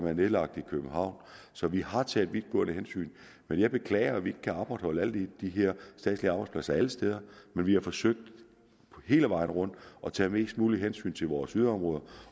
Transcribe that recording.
er nedlagt i københavn så vi har taget vidtgående hensyn men jeg beklager at vi ikke kan opretholde alle de her statslige arbejdspladser alle steder men vi har forsøgt hele vejen rundt at tage mest muligt hensyn til vores yderområder